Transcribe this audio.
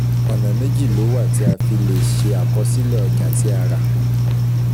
Ọ̀nà méjì ló wà tí a fi lè ṣe àkọsílẹ̀ ọjà tí a rà